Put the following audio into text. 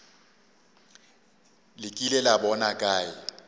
le kile la bona kae